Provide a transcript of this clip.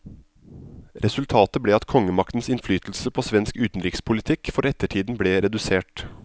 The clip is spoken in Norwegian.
Resultatet ble at kongemaktens innflytelse på svensk utenrikspolitikk for ettertiden ble redusert.